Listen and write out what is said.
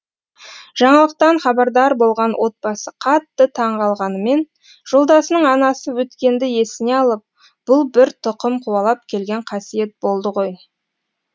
жаңалықтан хабардар болған отбасы қатты таңғалғанымен жолдасының анасы өткенді есіне алып бұл бір тұқым қуалап келген қасиет болды ғой деді